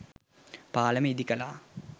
පාලම ඉදිකළා